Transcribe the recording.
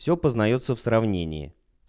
все познаётся в сравнении